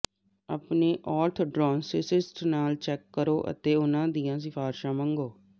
ਆਪਣੇ ਔਰਥਡੌਨਟਿਸਟ ਨਾਲ ਚੈੱਕ ਕਰੋ ਅਤੇ ਉਹਨਾਂ ਦੀਆਂ ਸਿਫ਼ਾਰਿਸ਼ਾਂ ਮੰਗੋ